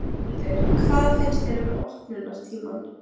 Þórhildur: Hvað finnst þér um opnunartímann?